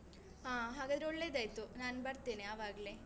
ಹಾ ಹಾಗಾದ್ರೆ ಒಳ್ಳೆದಾಯ್ತು ನಾನ್ ಬರ್ತೇನೆ ಆವಾಗ್ಲೇ.